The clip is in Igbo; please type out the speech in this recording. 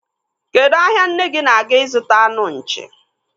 Kedụ ahia nne gi na-aga ịzụta anụ nchi?